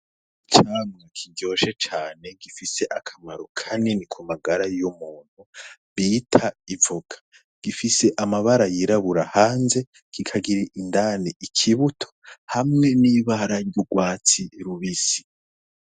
Icamwa kiryoshe cane, gifise akamaro kanini cane ku magara y'umuntu, bita ivoka. Gifise amabara yirabura hanze, kikagira indani ikibuto hamwe n'ibara ry'urwatsi rubisi